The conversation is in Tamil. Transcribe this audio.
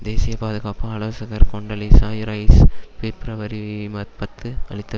தேசிய பாதுகாப்பு ஆலோசகர் கொண்டலீசா இரைஸ் பிப்ரவரி பத்து அளித்த